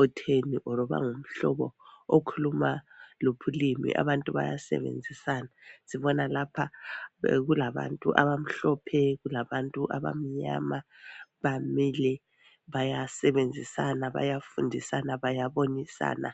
otheni or bangumhloba okhuluma luphi ulimi abantu bayasebenzisana sibona lapha kulabantu abamhlophe kulabantu abamnyama bamile bayasebenzisana bayafundisana bayabonisana